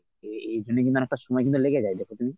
এ এজন্যে কিন্তু অনেকটা সময় কিন্তু লেগে যায় দেখ তুমি।